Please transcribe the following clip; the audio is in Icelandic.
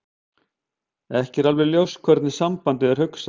Ekki er alveg ljóst hvernig sambandið er hugsað.